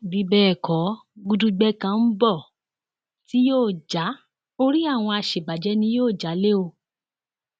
bí bẹẹ kọ gudugbẹ kan ń bọ tí yóò já orí àwọn àṣebàjẹ ni yóò já lé o